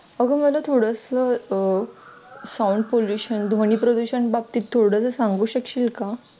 अग मला थोडसं अं sound pollution प्रदूषण ध्वनी प्रदूषण बाबतीत थोडं सांगू शकशील का?